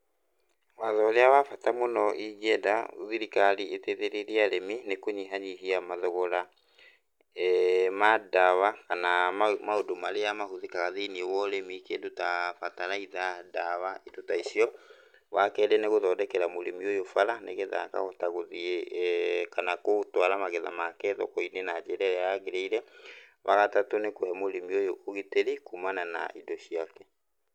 Watho ũrĩa wa bata mũno ingĩenda thirikari ĩteithĩrĩrie arĩmi nĩ kũnyihanyihia mathogora ma ndawa kana maũndũ marĩa mahũthĩkaga thĩiniĩ wa ũrĩmi ,kĩndũ ta bataraitha ,ndawa indo ta icio. Wakerĩ nĩ gũthondekera mũrĩmi ũyũ barabara nĩgetha akahota gũthiĩ kana gũtwara magetha make thokoinĩ na njĩra ĩrĩa yagĩrĩire ,wagatatũ nĩ kũhe mũrĩmi ũyũ ũgitĩri kuumana na indo ciake.